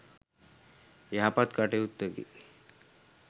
යහපත් කටයුත්තකි